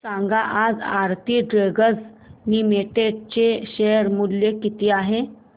सांगा आज Aarti drugs limited चे शेअर मूल्य किती आहे